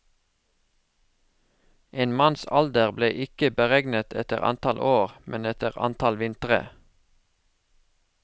En manns alder ble ikke beregnet etter antall år, men etter antall vintre.